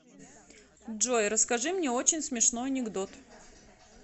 джой расскажи мне очень смешной анекдот